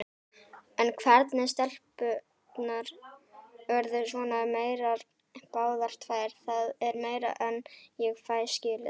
En hvernig stelpurnar urðu svona meyrar báðar tvær, það er meira en ég fæ skilið.